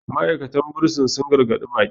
ma'aikatan bursin sun gargaɗi baƙi